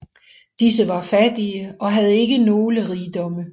Disse var fattige og havde ikke nogle rigdomme